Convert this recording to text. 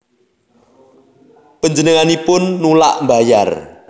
Panjenenganipun nulak mbayar